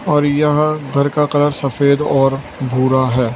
और यहां घर का कलर सफेद और भूरा है।